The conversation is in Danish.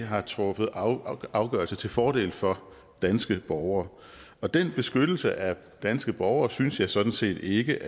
har truffet afgørelse til fordel for danske borgere og den beskyttelse af danske borgere synes jeg sådan set ikke